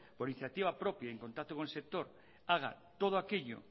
por iniciativa propia y en contacto con el sector haga todo aquello